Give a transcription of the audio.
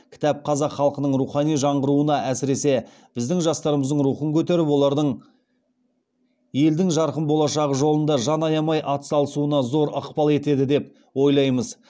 кітап қазақ халқының рухани жаңғыруына әсіресе біздің жастарымыздың рухын көтеріп олардың елдің жарқын болашағы жолында жан аямай атсалысуына зор ықпал етеді деп ойлаймыз